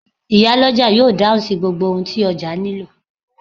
Iyálọ́jà yóò dáhùn sí gbogbo ohun tí ọjà nílò.